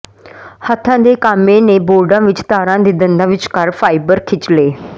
ਹੱਥਾਂ ਦੇ ਕਾਮੇ ਨੇ ਬੋਰਡਾਂ ਵਿਚ ਤਾਰਾਂ ਦੇ ਦੰਦਾਂ ਵਿਚਕਾਰ ਫਾਈਬਰ ਖਿੱਚ ਲਏ